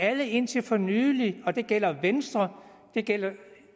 alle indtil for nylig det gælder venstre det gælder